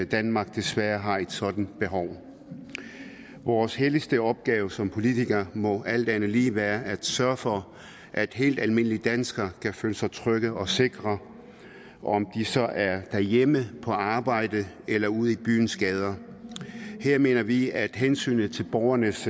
danmark desværre har et sådant behov vores helligste opgave som politikere må alt andet lige være at sørge for at helt almindelige danskere kan føle sig trygge og sikre om de så er derhjemme på arbejde eller ude i byens gader her mener vi at hensynet til borgernes